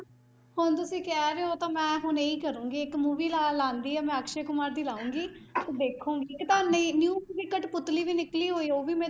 ਹੁਣ ਤੁਸੀਂ ਕਹਿ ਰਹੇ ਹੋ ਤਾਂ ਮੈਂ ਹੁਣ ਇਹ ਹੀ ਕਰਾਂਗੀ, ਇੱਕ movie ਲਾ ਲੈਂਦੀ ਹਾਂ ਮੈਂ ਅਕਸ਼ੇ ਕੁਮਾਰ ਦੀ ਲਾਊਂਗੀ ਤੇ ਦੇਖਾਂਗੀ new movie ਕਠਪੁਤਲੀ ਵੀ ਨਿਕਲੀ ਹੋਈ ਆ ਉਹ ਵੀ ਮੈਂ